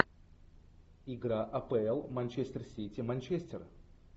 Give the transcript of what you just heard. игра апл манчестер сити манчестер